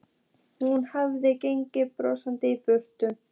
Hún hafði gengið brosandi í burt.